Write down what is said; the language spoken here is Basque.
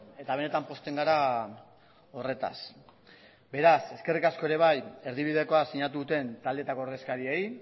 eta benetan pozten gara horretaz beraz eskerrik asko ere bai erdibidekoa sinatu duten taldeetako ordezkariei